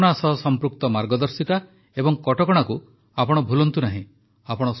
corona ସହ ସଂପୃକ୍ତ ମାର୍ଗଦର୍ଶିକା ଓ କଟକଣାକୁ ଆପଣ ଭୁଲନ୍ତୁ ନାହିଁ